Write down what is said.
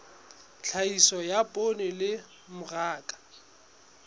tlhahiso ya poone le mmaraka